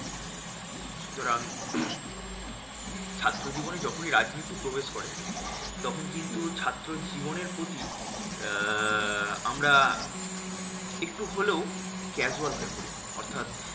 সুতরাং ছাত্র জীবনে যখনি রাজনীতি প্রবেশ করে, তখন কিন্তু ছাত্র জীবনের প্রতি আহ আমরা একটু হলেও casual হয়ে পরি। অর্থাৎ